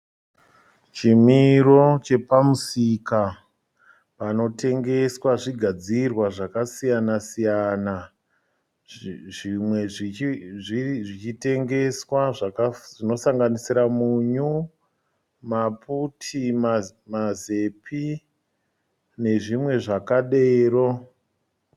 Chimiro chepamusika panotengeswa zvigadzirwa zvakasiyana siyana zvimwe zvichitengeswa zvinosanganisira munyu maputi mazepi nezvimwe zvakadero.